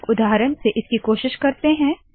चलिए एक उदाहरण से इसकी कोशिश करते है